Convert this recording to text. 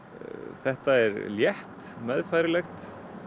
þetta er létt meðfærilegt